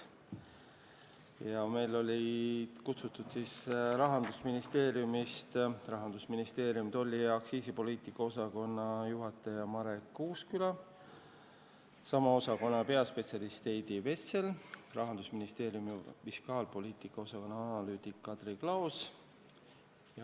Olime kohale kutsunud ka Rahandusministeeriumi tolli- ja aktsiisipoliitika osakonna juhataja Marek Uusküla, sama osakonna peaspetsialisti Heidi Vesseli ja fiskaalpoliitika osakonna analüütiku Kadri Klaose.